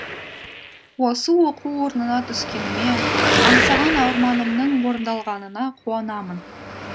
осы оқу орнына түскеніме аңсаған арманымның орындалғанына қуанамын